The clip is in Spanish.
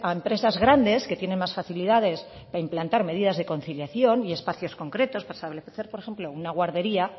empresas grandes que tienen más facilidades de implantar medidas de conciliación y espacios concretos para establecer por ejemplo una guardería